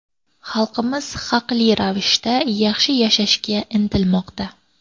Xalqimiz haqli ravishda yaxshi yashashga intilmoqda.